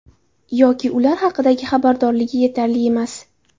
Yoki ular haqidagi xabardorligi yetarli emas.